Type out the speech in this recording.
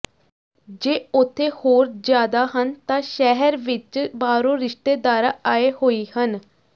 ਜੇ ਉਥੇ ਹੋਰ ਜ਼ਿਆਦਾ ਹਨ ਤਾਂ ਸ਼ਹਿਰ ਵਿਚ ਬਾਹਰੋਂ ਰਿਸ਼ਤੇਦਾਰਾਂ ਆਏ ਹੋਈ ਹਨ